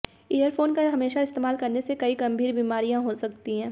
earphone का हमेशा इस्तेमाल करने से कई गंभीर बीमारियां हो सकती हैं